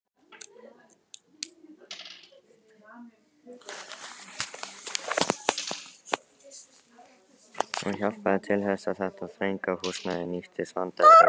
Hún hjálpaði til þess, að þetta þrönga húsnæði nýttist vandræðalaust.